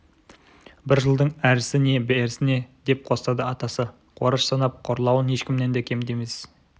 бір жылдың әрісі не берісі не деп қостады атасы қораш санап қорлауын ешкімнен де кем емес